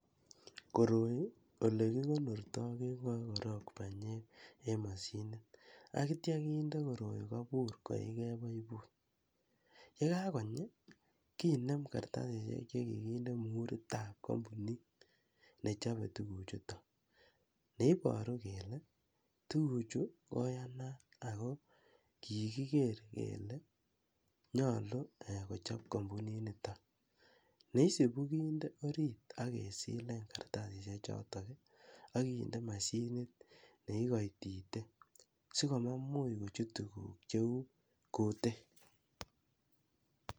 Koroi ele kigonorto keng'oe korong' banyek en mashinit ak kityo kende koroi kobur koige baibut. Ye kagonyi kinem kartasishek che kiginde muhuritab kompunit nechobe tuguchuto. Ne iboru kole tuguchu koyanat ago kiigiker kele nyolu kochob kompuninito. Ne isubi kinde orit ak kesilin kartasishek choto ak kinde mashinit ne igoitite asikomamuch kochut tuguk cheu kutik.